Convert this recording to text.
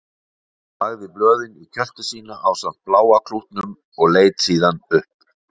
Hún lagði blöðin í kjöltu sína ásamt bláa klútnum og leit síðan upp.